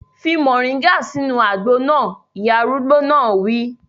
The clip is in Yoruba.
Fi moringa sínú àgbo náà! Ìyá arúgbó náà wí.